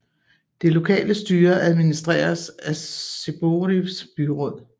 Det lokale styre administreres af Zborivs byråd